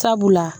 Sabula